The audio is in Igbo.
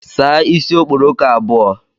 Saa isi okporoko abụọ